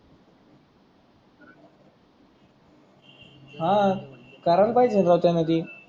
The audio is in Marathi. हा देतो म्हणले कराला पाहिजे होता त्याने ते